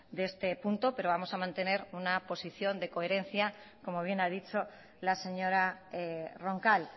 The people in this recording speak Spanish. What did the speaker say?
de este punto pero vamos a mantener una posición de coherencia como bien ha dicho la señora roncal